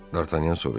Dartanyan soruşdu.